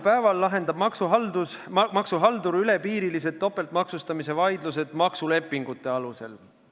Praegu lahendab maksuhaldur piiriülesed topeltmaksustamise vaidlused maksulepingute alusel.